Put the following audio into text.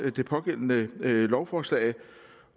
det pågældende lovforslag